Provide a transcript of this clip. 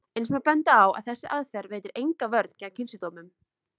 Eins má benda á að þessi aðferð veitir enga vörn gegn kynsjúkdómum.